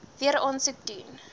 weer aansoek doen